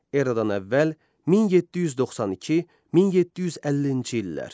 Eradan əvvəl 1792-1752-ci illər.